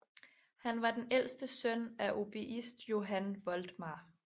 Han var ældste søn af oboist Johan Voltmar